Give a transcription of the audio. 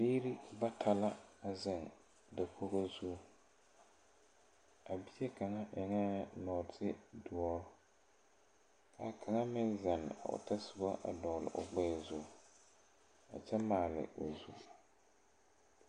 Biire bata la a zeŋ dakogo a bie kaŋa eŋɛɛ nɔtidoɔ ka kaŋa meŋ zeŋ otɔsobɔ dɔgle o gbɛɛ zu a kyɛ maale o zu.